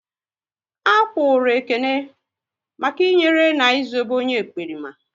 A kpụrụru Ekene maka i nyere na Ị zobe onye ekperima